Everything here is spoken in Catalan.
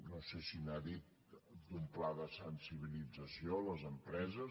no sé si n’ha dit d’un pla de sensibilització a les empreses